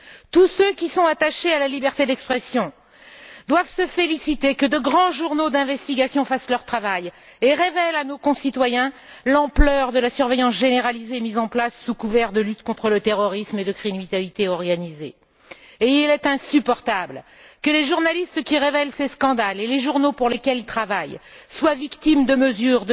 Tous ceux qui sont attachés à la liberté d'expression doivent se féliciter que de grands journaux d'investigation fassent leur travail et révèlent à nos concitoyens l'ampleur de la surveillance généralisée mise en place sous couvert de lutte contre le terrorisme et la criminalité organisée. Il est insupportable que les journalistes qui révèlent ces scandales et les journaux pour lesquels ils travaillent soient victimes de mesures